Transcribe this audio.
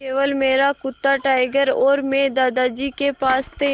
केवल मेरा कुत्ता टाइगर और मैं दादाजी के पास थे